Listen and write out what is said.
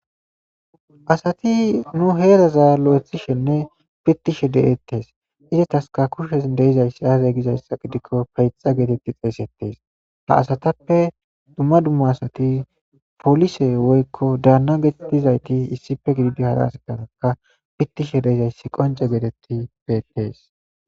Asati nu heeraza lo'ithishenne pittishe de'etes izetaska kushen de'izayssi aaze gizayssa gidiko peyxxa getetidi xeysetes ha asatappe dumma dumma asati poolise woykko daanna geetetizayti issipe gididi hara asataraka pittishe de'izayssi qoncce geetetidi beettees.